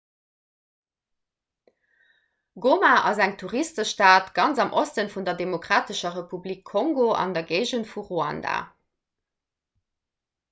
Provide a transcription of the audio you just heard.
goma ass eng touristestad ganz am oste vun der demokratescher republik kongo an der géigend vu ruanda